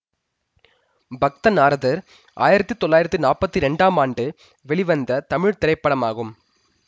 பக்த நாரதர் ஆயிரத்தி தொள்ளாயிரத்தி நாற்பத்தி இரண்டாம் ஆண்டு வெளிவந்த தமிழ் திரைப்படமாகும்